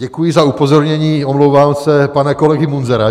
Děkuji za upozornění - omlouvám se - pana kolegy Munzara.